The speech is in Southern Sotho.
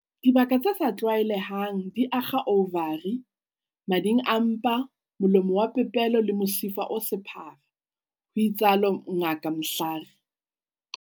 "Dibaka tse sa tlwaelehang di akga ouvari, mading a mpa, molomo wa popelo le mosifa o sephara," ho itsalo Ngaka Mhlari.